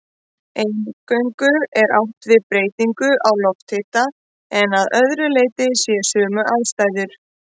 Eingöngu er átt við breytingu á lofthita en að öðru leyti séu sömu aðstæður.